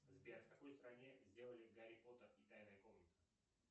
сбер в какой стране сделали гарри поттер и тайная комната